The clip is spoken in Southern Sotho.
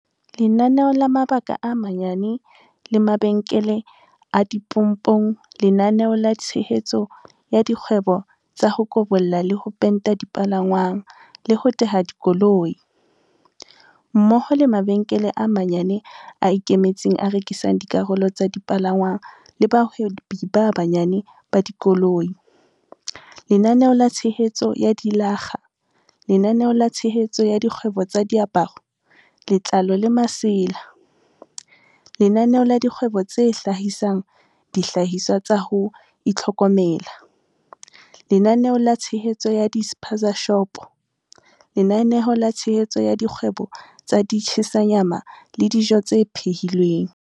Lenaneo la mabaka a manyane le mabenkele a dipompong Lenaneo la tshehetso ya dikgwebo tsa ho kobolla le ho penta dipalangwang le ho teha dikoloi, mmoho le mabenkele a manyane a ikemetseng a rekisang dikarolo tsa dipalangwang le bahwebi ba banyane ba dikoloi, Lenaneo la tshehetso ya dilakga Lenaneo la tshehetso ya dikgwebo tsa diaparo, letlalo le masela Lenaneo la dikgwebo tse hlahisang dihlahiswa tsa ho itlhokomela Lenaneo la tshehetso ya di-spaza-shopo Lenaneo la tshehetso ya dikgwebo tsa di-tshisa nyama le dijo tse phehi lweng